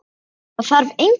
Það þarf engin orð.